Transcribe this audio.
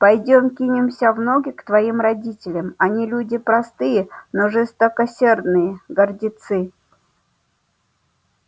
пойдём кинемся в ноги к твоим родителям они люди простые но жестокосердые гордицы